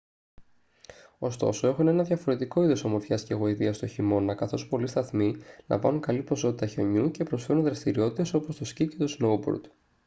ωστόσο έχουν ένα διαφορετικό είδος ομορφιάς και γοητείας τον χειμώνα καθώς πολλοί σταθμοί λαμβάνουν καλή ποσότητα χιονιού και προσφέρουν δραστηριότητες όπως το σκι και το σνόουμπορντ